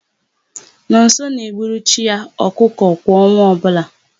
Nọnso na-egburu chi ya ọkụkọ kwa ọnwa ọbụla.